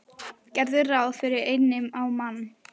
Gerðu ráð fyrir einni á mann.